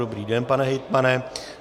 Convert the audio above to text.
Dobrý den, pane hejtmane.